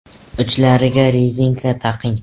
Uchlariga rezinka taqing.